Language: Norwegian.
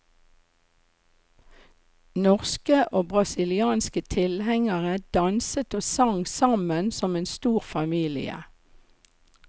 Norske og brasilianske tilhengere danset og sang sammen som en stor familie.